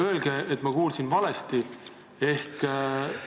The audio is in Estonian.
Öelge, et ma kuulsin valesti!